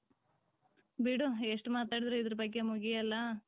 ಬಿಡು ಎಷ್ಟ್ ಮಾತಾಡದ್ರು ಇದರ್ ಬಗ್ಗೆ ಮುಗಿಯಲ್ಲ .